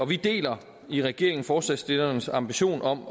vi deler i regeringen forslagsstillernes ambition om